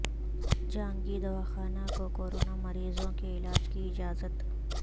خانگی دواخانوں کو کورونا مریضوں کے علاج کی اجازت